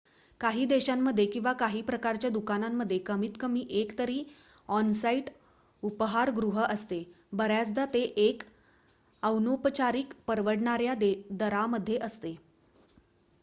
काही देशांमध्ये किंवा काही प्रकारच्या दुकानांमध्ये कमीत कमी 1 तरी ऑन-साईट उपाहारगृह असते बऱ्याचदा ते 1 अनौपचारिक परवडणाऱ्या दरामध्ये असते